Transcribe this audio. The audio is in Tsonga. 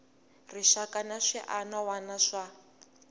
rixaka na swiana wana swa